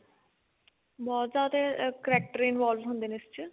ਬਹੁਤ ਜਿਆਦਾ character involve ਹੁੰਦੇ ਨੇ ਇਸ ਚ